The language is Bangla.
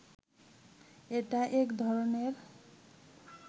এটা এক ধরনের